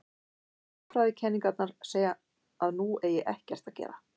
Hagfræðikenningarnar segja að nú eigi ekkert að gera.